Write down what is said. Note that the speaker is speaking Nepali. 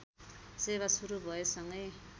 सेवा सुरू भएसँगै